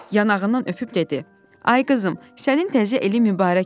Yanağından öpüb dedi: "Ay qızım, sənin təzə ili mübarək olsun.